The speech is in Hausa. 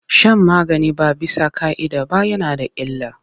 Shan magani ba bisa ƙa'ida ba yana da illa.